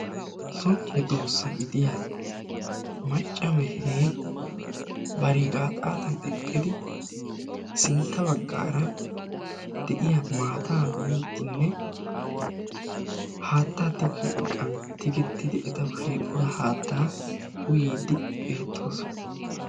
so medoosa gidiya macca mehee bari gaaxaatan eqqidi sintta bagaara de'iya maataa miidinne haattaa tigiyo iqan tigetidi etawu shiqida hattaa uyiidi beetoosona .